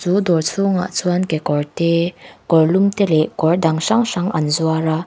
chu dawr chhungah chuan kekawr te kawrlum te leh kawr dang hrang hrang an zuar a.